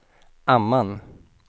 Amman